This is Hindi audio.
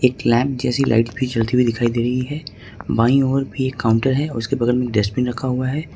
क्लैंप जैसी लाइट भी चलती हुई दिखाई दे रही है भाई और भी एक काउंटर है उसके बगल में डस्टबिन रखा हुआ है।